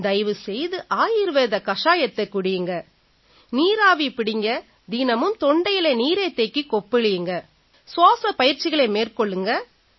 தயவு செய்து ஆயுர்வேத கஷாயத்தைக் குடியுங்க நீராவி பிடியுங்க தினமும் தொண்டையில நீரைத் தேக்கிக் கொப்பளியுங்க சுவாஸப் பயிற்சிகளை மேற்கொள்ளுங்க